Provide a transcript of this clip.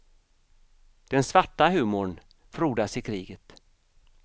Den svarta humorn frodas i kriget.